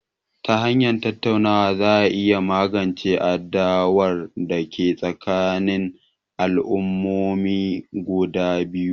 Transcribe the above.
Ta hanyar tattaunawa za a iya magance adawar da ke tsakanin al'ummomin guda biyu